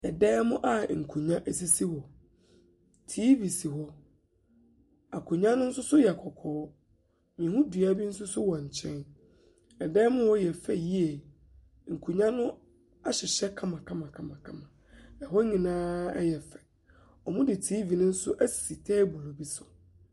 Dan mu nkonnwa sisi hɔ, TV si hɔ, akonnwa no nso yɛ kɔkɔɔ, mehu dua bi nso wɔ nkyɛn. Dan mu hɔ yɛ fɛ yie, nkonnwa no ahyehyɛ kamakamakamakama, na hɔ nyina yɛ fɛ. Wɔde TV no nso asi table bi so.